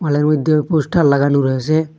হলের মইধ্যে পোস্টার লাগানো রয়েসে।